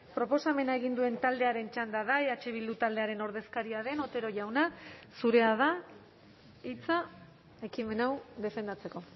proposamena egin duen taldearen txanda da eh bildu taldearen ordezkaria den otero jauna zurea da hitza ekimen hau defendatzeko